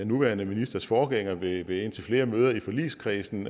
nuværende ministers forgænger ved indtil flere møder i forligskredsen